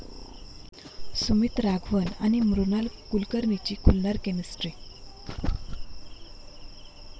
सुमित राघवन आणि मृणाल कुलकर्णीची खुलणार केमिस्ट्री